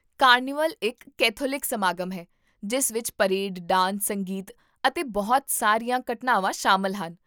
carnival ਇੱਕ Catholic ਸਮਾਗਮ ਹੈ ਜਿਸ ਵਿੱਚ ਪਰੇਡ, ਡਾਂਸ, ਸੰਗੀਤ ਅਤੇ ਬਹੁਤ ਸਾਰੀਆਂ ਘਟਨਾਵਾਂ ਸ਼ਾਮਲ ਹਨ